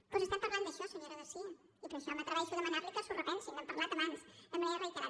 doncs estem parlant d’això senyora garcía i per això m’atreveixo a demanar li que s’ho repensin n’hem parlat abans de manera reiterada